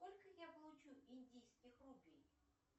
сколько я получу индийских рупий